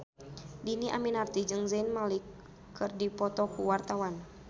Dhini Aminarti jeung Zayn Malik keur dipoto ku wartawan